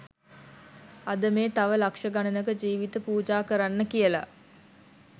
අද මේ තව ලක්ෂ ගණනක ජීවිත පූජා කරන්න කියල